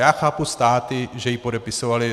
Já chápu státy, že ji podepisovaly.